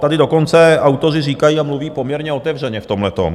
Tady dokonce autoři říkají a mluví poměrně otevřeně v tomhletom.